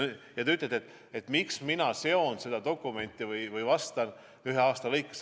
Nüüd, te ütlete, et mina vastan sellest dokumendist rääkides ühe aasta lõikes.